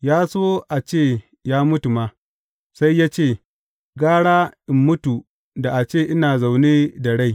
Ya so a ce ya mutu ma, sai ya ce, Gara in mutu da a ce ina zaune da rai.